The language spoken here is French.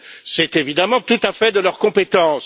C'est évidemment tout à fait de leur compétence.